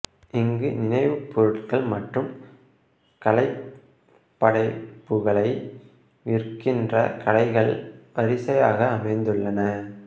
இங்கு நினைவுப் பொருட்கள் மற்றும் கலைப்படைப்புகளை விற்கின்ற கடைகள் வரிசையாக அமைந்துள்ளன